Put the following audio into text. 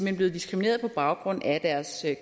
er blevet diskrimineret på baggrund af deres